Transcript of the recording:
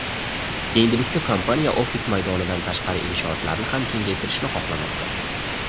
Endilikda kompaniya ofis maydonidan tashqari inshootlarni ham kengaytirishni xohlamoqda.